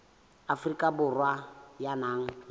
afrika borwa ya nang le